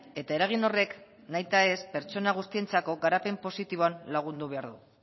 eta eragin horrek nahi eta nahi ez pertsona guztientzako garapen positiboan lagundu behar du